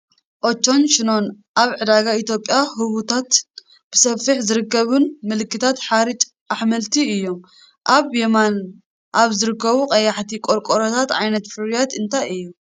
ኦቸን ሸኖን ኣብ ዕዳጋ ኢትዮጵያ ህቡባትን ብሰፊሑ ዝርከቡን ምልክታት ሓርጭ ኣሕምልቲ እዮም። ኣብ የማን ኣብ ዝርከቡ ቀያሕቲ ቆርቆሮታት ዓይነት ፍርያት እንታይ እዩ?